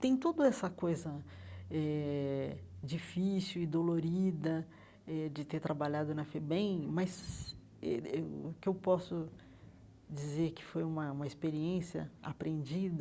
Tem todo essa coisa eh difícil e dolorida eh de ter trabalhado na FEBEM, mas eh o que eu posso dizer que foi uma uma experiência aprendida,